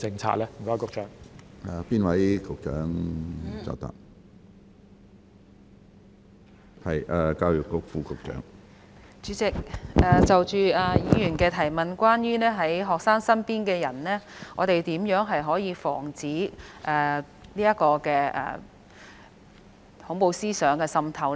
主席，就着議員的補充質詢，關於學生身邊的人，我們如何可以防止恐怖思想滲透呢？